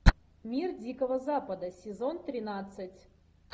мир дикого запада сезон тринадцать